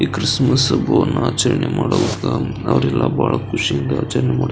ಈ ಕ್ರಿಸ್ಮಸ್ ಹಬ್ಬವನ್ನ ಆಚರಣೆ ಮಾಡುವಾಗ ಅವ್ರೆಲ್ಲ ಬಹಳ ಖುಷಿಯಿಂದ ಆಚರಣೆ --